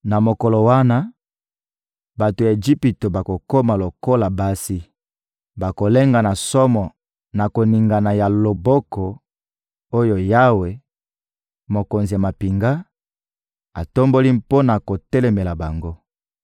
Na mokolo wana, bato ya Ejipito bakokoma lokola basi. Bakolenga na somo na koningana ya loboko oyo Yawe, Mokonzi ya mampinga, atomboli mpo na kotelemela bango.